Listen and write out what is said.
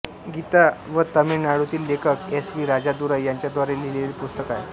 गीता व तमिळनाडूतील लेखक एस वि राजादुराई यांच्या द्वारे लिहिलेले पुस्तक आहे